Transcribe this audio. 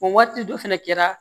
O waati dɔ fɛnɛ kɛra